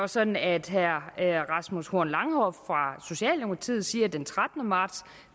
sådan at herre rasmus horn langhoff den trettende marts